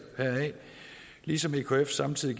heraf ligesom ekf samtidig